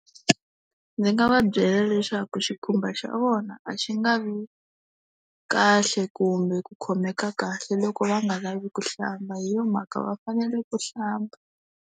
Ndzi nga va byela leswaku xikhumba xa vona a xi nga vi kahle kumbe ku khomeka kahle, loko va nga lavi kuhlamba hi yo mhaka va fanele ku hlamba.